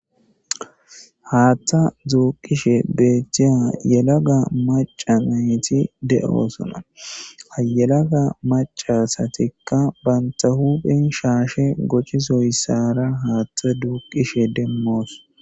haattha dzuuqishe beethtiya yelaga maca nayti de7o sona ayelaga macasatikka banta huphen shaashe goccisoyssaara haaththa duuqishe demmoos